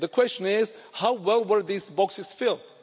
the question is how well were these boxes filled?